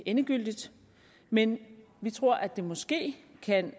endegyldigt men vi tror at det måske kan